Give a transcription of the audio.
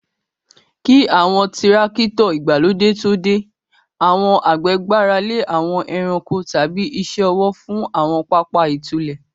Kí àwọn Tírákítọ̀ ìgbàlódé tó dé, àwọn àgbẹ̀ gbára lé àwọn ẹranko tàbí iṣẹ́ ọwọ́ fún àwọn pápá ìtúlẹ̀.